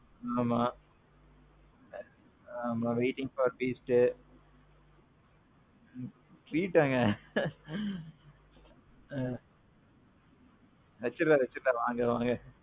ஆமாம். waiting for beast. treat ஆங்க. ஆ. வச்சிருவோம் வச்சிருவோம் வாங்க.